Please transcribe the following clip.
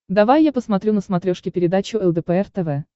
давай я посмотрю на смотрешке передачу лдпр тв